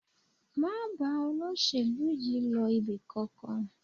Má bá olóṣèlú yìí lọ ibì kankan